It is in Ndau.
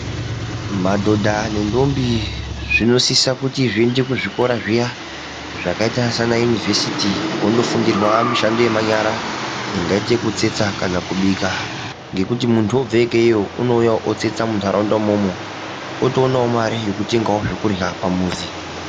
Madhodha nendombi zvinosisa kuti zviende kuzvikora zviya zvakaita sanayunivhesiti kunondofundirwa mishando yemanyara, ingaite yekutsetsa kana kubika, ngekuti muntu wobve ikeeyo, unouya otsetsa muntaraunda imomo. Otoonawo mare yekutenga zvekurya pamuzi.